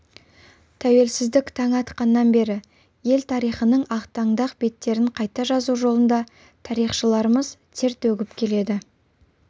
тәуелсіздік таңы атқаннан бері ел тарихының ақтаңдақ беттерін қайта жазу жолында тарихшыларымыз тер төгіп келеді